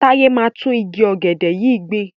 Táyé máa gbin tún igi ọ̀gẹ̀dẹ̀ yìí gbìn.